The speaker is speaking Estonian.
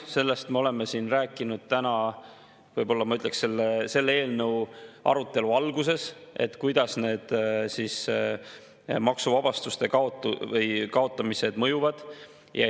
Sellest me oleme siin rääkinud täna võib-olla selle eelnõu arutelu alguses, kuidas need maksuvabastuste kaotamised mõjuvad.